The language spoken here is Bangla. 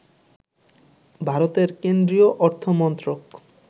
ভারতের কেন্দ্রীয় অর্থমন্ত্রক